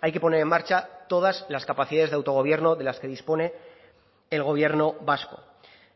hay que poner en marcha todas las capacidades de autogobierno de las que dispone el gobierno vasco